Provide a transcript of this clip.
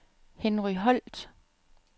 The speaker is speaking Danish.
Henry Holt